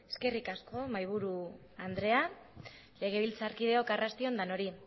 eskerrik asko mahaiburu andrea legebiltzarkideok arrasti on denoi